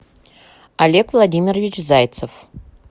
олег владимирович зайцев